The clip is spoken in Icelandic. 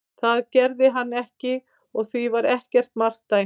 Það gerði hann ekki og því var ekkert mark dæmt.